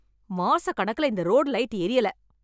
மாச கணக்குல இந்த ரோடு லைட் எரியல.